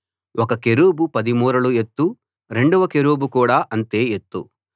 ఒక కెరూబు 10 మూరల ఎత్తు రెండవ కెరూబు కూడా అంతే ఎత్తు